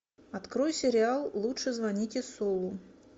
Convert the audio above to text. открой сериал лучше звоните солу